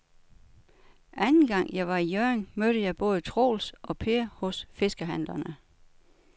Anden gang jeg var i Hjørring, mødte jeg både Troels og Per hos fiskehandlerne.